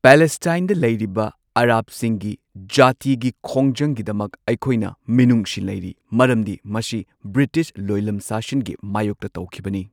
ꯄꯦꯂꯦꯁꯇꯥꯏꯟꯗ ꯂꯩꯔꯤꯕ ꯑꯔꯕꯁꯤꯡꯒꯤ ꯖꯥꯇꯤꯒꯤ ꯈꯣꯡꯖꯪꯒꯤꯗꯃꯛ ꯑꯩꯈꯣꯢꯅ ꯃꯤꯅꯨꯡꯁꯤ ꯂꯩꯔꯤ ꯃꯔꯝꯗꯤ ꯃꯁꯤ ꯕ꯭ꯔꯤꯇꯤꯁ ꯂꯣꯢꯂꯝ ꯁꯥꯁꯟꯒꯤ ꯃꯥꯌꯣꯛꯇ ꯇꯧꯈꯤꯕꯅꯤ꯫